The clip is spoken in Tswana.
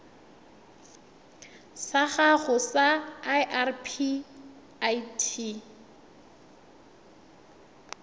sa gago sa irp it